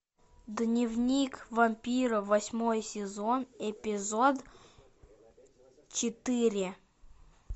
дневник вампира восьмой сезон эпизод четыре